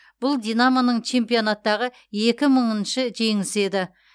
бұл динамоның чемпионаттағы екі мыңыншы жеңісі еді